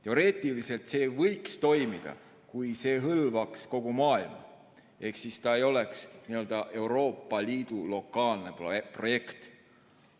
Teoreetiliselt võiks see toimida, kui see hõlmaks kogu maailma ehk ei oleks n‑ö Euroopa Liidu lokaalne projekt.